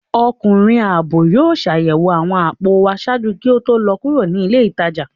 Ọkunrin aabọ yóò ṣayẹwo awọn apò wa ṣaaju ki o to lọ kuro ni ile itaja